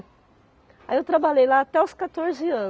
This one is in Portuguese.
Aí eu trabalhei lá até os quatorze anos.